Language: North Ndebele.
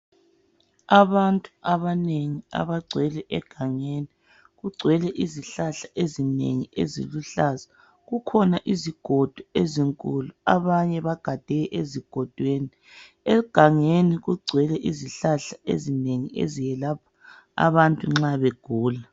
Abantu abanengi abagcwele egangeni, kugcwele izihlahla ezinengi eziluhlaza kukhona izigodo ezinkulu abanye bagade ezigodweni. Egangeni kugcwele izihlahla ezinengi eziyelapha abantu nxa begula.